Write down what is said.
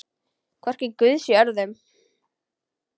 Hvorki guði né öðrum.